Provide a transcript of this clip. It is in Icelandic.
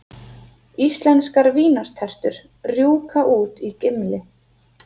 Íslenskar vínartertur rjúka út í Gimli